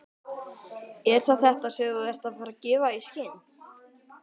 Er það þetta, sem þú ert að gefa í skyn?